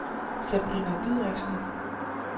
Sabrina Dideriksen